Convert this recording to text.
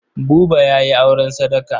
Buba ya yi auren sadaka.